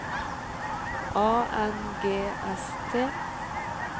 A N G S T